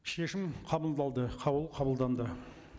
шешім қаулы қабылданды